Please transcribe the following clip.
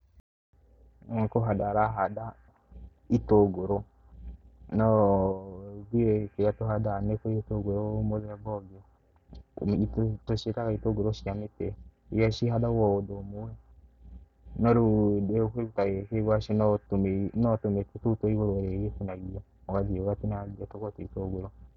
Ũyũ nĩ kũhanda arahanda itũngũrũ no ithuĩ kĩrĩa tũhandaga nĩ gĩtũngũrũ mũthemba ũngĩ. Tũciĩtaga itũngũrũ cia mĩtĩ iria cihandagwo o ũndũ ũmwe. No rĩu kĩndũ ta gĩkĩ gwacĩ no tũmĩtĩ tũu twa igũrũ urĩgĩtinagia, ũgathii ũgatinangia tũkoragwo twĩ itũngũrũ.